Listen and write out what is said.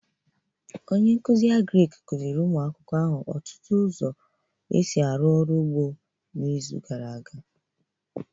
Onye nkuzi Agric kuziri ụmụ akwụkwọ ahụ ọtụtụ ụzọ ọrụ ugbo n'izu gara aga